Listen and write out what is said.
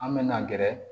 An me na gɛrɛ